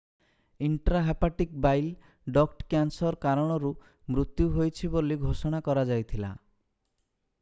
intrahepatic bile duct cancer କାରଣରୁ ମୃତ୍ୟୁ ହୋଇଛି ବୋଲି ଘୋଷଣା କରାଯାଇଥିଲା